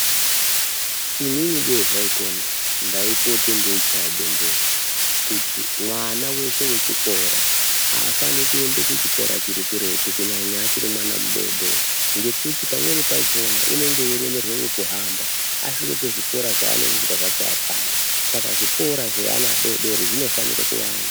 Inini dei zvaikona ndaipote ndeichaya bembera kuti mwana weshe wechikora aafani kuende kuchikora chiri kuretu kunyanya achiri mwana mudoodori. Ngekuti pamweni pachona unenge eiremerwa ngekuhamba, asvike kuzvikora zvaanozozwa zvacho apana. Saka zvikora zveana adoodori zvinofanire kuwanda.